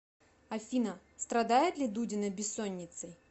афина страдает ли дудина бессонницей